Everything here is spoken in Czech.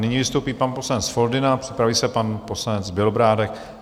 Nyní vystoupí pan poslanec Foldyna, připraví se pan poslanec Bělobrádek.